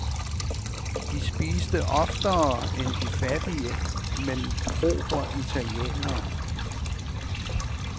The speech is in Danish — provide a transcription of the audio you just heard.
De spiste oftere end de fattige, men propre italienere.